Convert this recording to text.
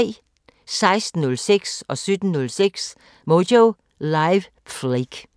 16:06: Moyo Live: Phlake 17:06: Moyo Live: Phlake